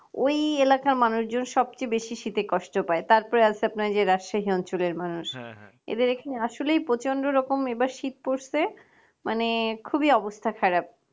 ওই এলাকার মানুষজন সব সবচেয়ে বেশি শীতে কষ্ট পাই তারপর আল সেজে আপনার রাজশাহী অঞ্চলে মানুষদের এখানে আসলে প্রচন্ড রকমের এবার শীত পড়ছে মানে খুবই অবস্থা খারাপ